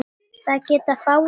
Það geta fáir í dag.